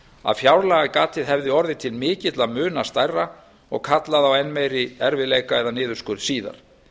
að fjárlagagatið hefði orðið til mikilla muna stærra og kallað á enn meiri erfiðleika eða niðurskurð síðar